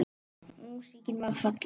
Músíkin varð falleg.